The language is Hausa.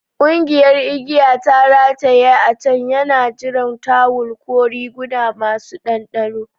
Kugiyan igiyar ta rataye a can tana jiran tawul ko riguna masu ɗanɗano.